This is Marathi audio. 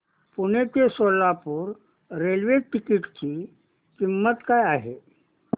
पुणे ते सोलापूर रेल्वे तिकीट ची किंमत काय आहे